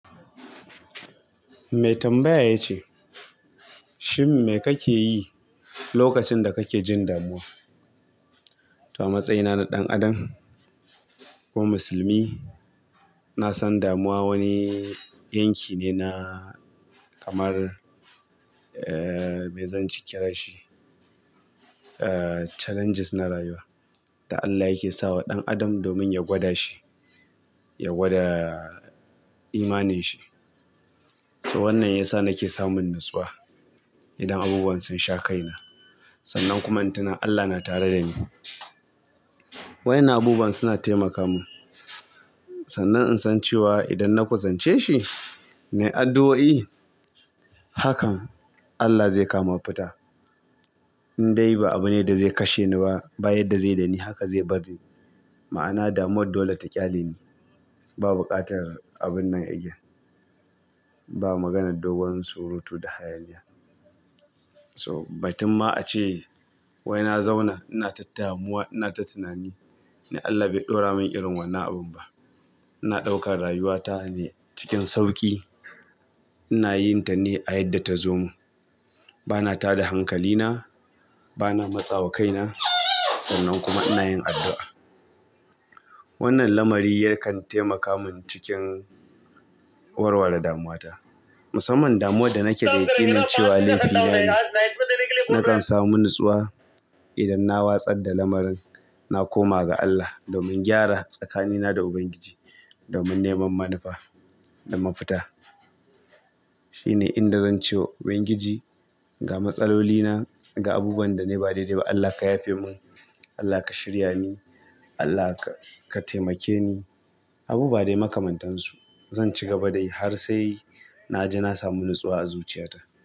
Mai tambaya ya ce, "Shin me kake yi lokacin da kake jin damuwa?" To a matsayina na ɗan adam ko musulmi, na san damuwa wani yanki ne na kamar, eh, me zan ci ki ra shi, eh, challenges na rayuwa da Allah yake sa wa ɗan adam domin ya gwada shi, ya gwada imanin shi. To wannan yasa nake samun natsuwa idan abubuwan sun sha kaina. Sannan kuma in tuna Allah na tare da ni. Waɗannan abubuwan suna taimaka mun. Sannan in san cewa idan na kusance shi, na yi addu'o'i, hakan Allah zai kawo ma fita. Indai ba abune da zai kashe ni ba, ba yadda zai dani haka zai bari. Ma'ana damuwar dole ta ƙyale ni. Ba buƙatar abun nan again. Ba maganar dogon surutu da hayaniya. To batun ma a ce wai na zauna ina ta damuwa, ina ta tunani, ni Allah bai ɗaura mun irin wannan abun ba. Ina ɗaukar rayuwata ne cikin sauƙi. Ina yin ta ne a yadda ta zo mun. Bana tada hankalina, bana matsawa kaina sannan kuma ina yin addu'a. Wannan lamari yakan taimaka mun cikin warware damuwata. Musamman damuwar da nake da yaƙinin cewa lefina ne, nakan samu natsuwa idan na watsar da lamarin, na koma ga Allah domin gyara tsakanina da Ubangiji, domin neman manufa da mafita. Shine inda zan ce wa Ubangiji ga matsalolina, ga abubuwan da nayi ba daidai ba Allah ka yafe mun, Allah ka shirya ni, Allah ka taimake ni. Abubuwa dai makamantansu. Zan ci gaba da yi har sai-- na ji na samu natsuwa a zuciyata.